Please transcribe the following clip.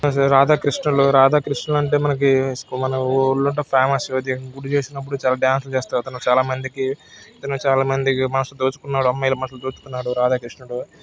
రాధాకృష్ణులు రాధాకృష్ణులు అంటే మనకి మన ఊళ్ళంట ఫేమస్ గుడి చేసినప్పుడు చాలా డాన్స్ లు చేస్తారు ఇతను. చాలామందికి ఇతను చాలామంది మనసు దోచుకున్నాడు అమ్మాయిల మనసు దోచుకున్నాడు రాధాకృష్ణుడు.